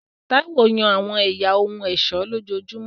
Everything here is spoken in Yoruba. Táíwò yan àwọn ẹ̀yà ohun ọ̀ṣọ́ lójoojúmọ́